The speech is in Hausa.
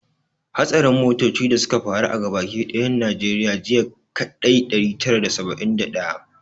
Hatsarin motoci da suka faru a gaba ki dayan najeriya jiya ya kai ɗari tara da saba'in da daya